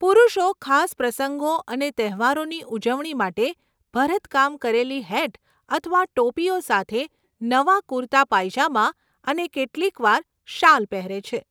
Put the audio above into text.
પુરુષો ખાસ પ્રસંગો અને તહેવારોની ઉજવણી માટે ભરતકામ કરેલી હેટ અથવા ટોપીઓ સાથે નવા કુર્તા પાયજામા અને કેટલીકવાર શાલ પહેરે છે.